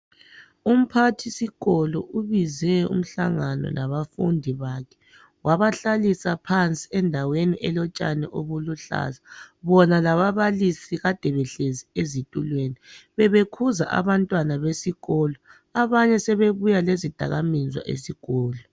Umphathisikolo ubize umhlangano labafundi bakhe wabahlalisa phansi endaweni belotshani obuluhlaza. Bona lababalisi bebehlezi ezitulweni bebekhuza abantwana besikolo abanye sebebuya lezidakaminzwa esikolo.